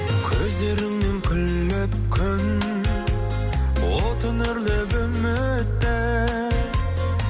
көздеріңнен күліп күн отын үрлеп үміттің